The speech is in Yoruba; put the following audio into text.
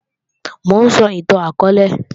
Mò ń sọ ìtàn akọọ́lẹ̀